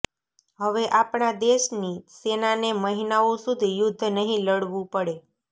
હવે આપણા દેશની સેનાને મહિનાઓ સુધી યુદ્ધ નહીં લડવુ પડે